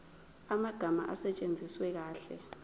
amagama asetshenziswe kahle